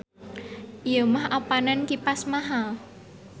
Ieu mah apanan kipas mahal.